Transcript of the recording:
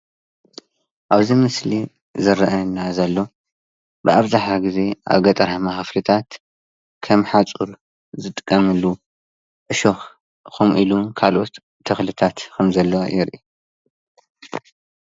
ኣብዚ ምስሊ ዝረአየና ዘሎ ብኣብዛሓ ግዜ ኣብ ገጠራማ ክፍሊታት ከም ሓፁር ዝጥቀመሉ ዕሾክ ከምኢሉ ዉን ካልኦት ተክሊታት ከም ዘለዎ የርኢ ፡፡